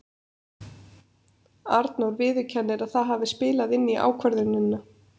Arnór viðurkennir að það hafi spilað inn í ákvörðunina.